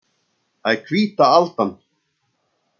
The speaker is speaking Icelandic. Það er hvíta aldan.